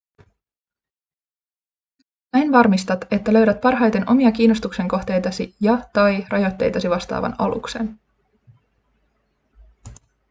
näin varmistat että löydät parhaiten omia kiinnostuksen kohteitasi ja/tai rajoitteitasi vastaavan aluksen